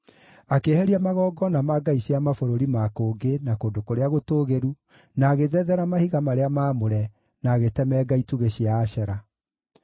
Akĩeheria magongona ma ngai cia mabũrũri ma kũngĩ, na kũndũ kũrĩa gũtũũgĩru, na agĩthethera mahiga marĩa maamũre, na agĩtemenga itugĩ cia Ashera.